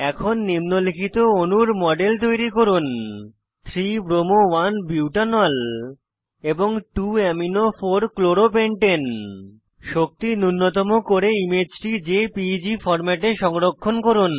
এখন নিম্নলিখিত অণুর মডেল তৈরি করুন 3 bromo 1 বুটানল এবং 2 amino 4 chloro পেন্টানে শক্তি নুন্যতম করে ইমেজটি জেপিইজি ফরম্যাটে সংরক্ষণ করুন